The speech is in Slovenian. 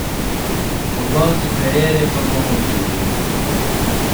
Po koncu kariere pa bomo videli.